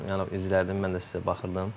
Yəni izləyirdim, mən də sizə baxırdım.